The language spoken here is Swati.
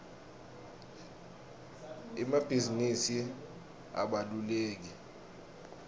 emabhizinisi abalulekile